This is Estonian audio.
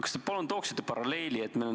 Kas te palun tooksite paralleeli?